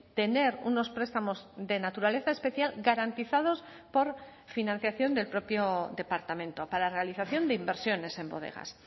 tener unos prestamos de naturaleza especial garantizados por financiación del propio departamento para la realización de inversiones en bodegas